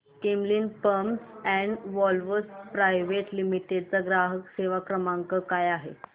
Camlin pumps and valves private limited चा ग्राहक सेवा क्रमांक काय आहे